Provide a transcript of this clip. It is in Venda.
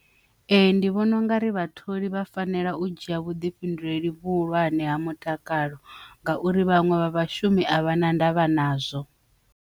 Ee, ndi vhona ungari vhatholi vha fanela u dzhia vhuḓifhinduleli vhuhulwane ha mutakalo ngauri vhaṅwe vha vhashumi a vha na ndavha nazwo.